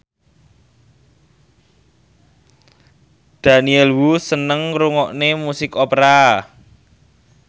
Daniel Wu seneng ngrungokne musik opera